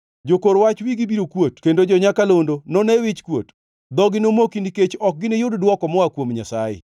Jokor wach wigi biro kuot kendo jo-nyakalondo none wichkuot. Dhogi nomoki nikech ok giniyud dwoko moa kuom Nyasaye.”